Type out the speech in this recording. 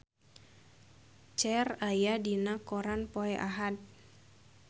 Cher aya dina koran poe Ahad